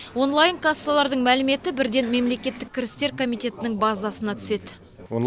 онлайн кассалардың мәліметі бірден мемлекеттік кірістер комитетінің базасына түседі